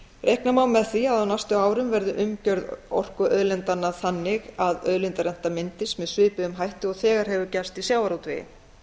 reikna má með því að á næstu árum verði umgjörð orkuauðlindanna þannig að auðlindarenta myndist svipuðum hætti og þegar hefur gerst í sjávarútvegi